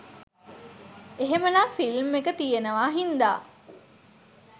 එහෙමනම් ‍ෆිල්ම් එක තියෙනවා හින්දා